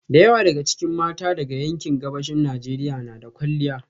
Da yawa daga cikin mata daga yankin Gabashin Najeriya na da kwalliya